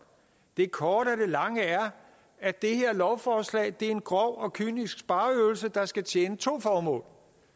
det korte af de lange er at det her lovforslag er en grov og kynisk spareøvelse der skal tjene to formål